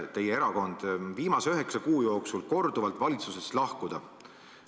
Teie erakond on lubanud viimase üheksa kuu jooksul korduvalt valitsusest lahkuda.